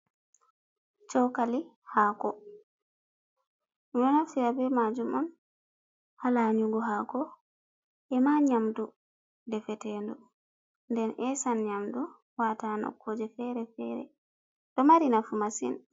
Chokali hako ɗon naftira be majum on ha lanyugo hako ema nyamdu de fetendu den esan nyamdu wata noƙkuje fere fere ɗo mari nafu masin.